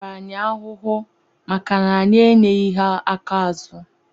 Atara anyị ahụhụ maka anyị enyeghi ha aka azụ.